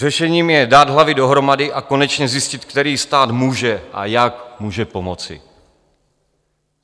Řešením je dát hlavy dohromady a konečně zjistit, který stát může a jak může pomoci.